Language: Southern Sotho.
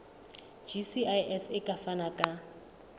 gcis e ka fana ka